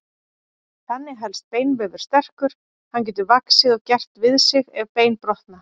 Þannig helst beinvefur sterkur, hann getur vaxið og gert við sig ef bein brotna.